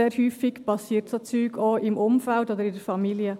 Sehr häufig geschehen solche Dinge auch im Umfeld oder in der Familie.